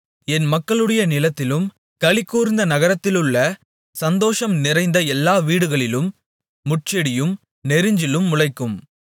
என் மக்களுடைய நிலத்திலும் களிகூர்ந்திருந்த நகரத்திலுள்ள சந்தோஷம் நிறைந்த எல்லா வீடுகளிலும் முட்செடியும் நெரிஞ்சிலும் முளைக்கும்